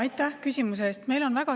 Aitäh küsimuse eest!